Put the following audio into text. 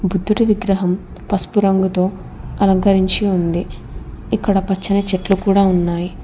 బుద్ధుడి విగ్రహం పసుపు రంగుతో అలంకరించి ఉంది ఇక్కడ పచ్చని చెట్లు కూడా ఉన్నాయి.